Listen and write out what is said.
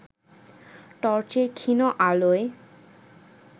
টর্চের ক্ষীণ আলোয়